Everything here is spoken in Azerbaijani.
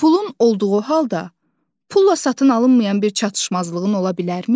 Pulun olduğu halda, pulla satın alınmayan bir çatışmazlığın ola bilərmi?